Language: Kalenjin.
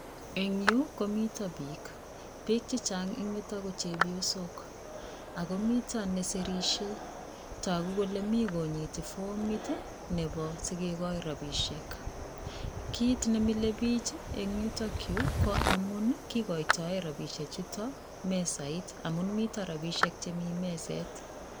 En yuu komiten bik ,bik chechang en yuto ako miten nesirishe toku kole mii konyit formit nebo sikekoi rabishek kit nemile bik en yutok yuu ko amun kikoitoen raishek chutok mesait amun miten rabishek chemiten meset.